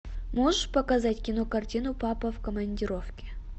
можешь показать кинокартину папа в командировке